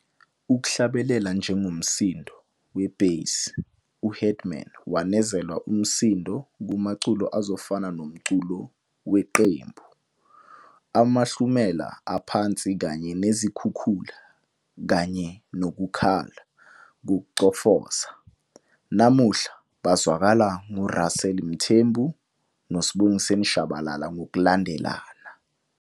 Ukuhlabelela njengomsindo we-bass, u-Headman wanezela umsindo kumaculo azofana nomculo weqembu, amahlumela aphansi kanye nezikhukhula kanye nokukhala "kokuchofoza", namuhla, bazwakala nguRussel Mthembu noSibongiseni Shabalala ngokulandelana.